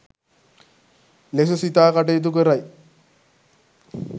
ලෙස සිතා කටයුතු කරයි.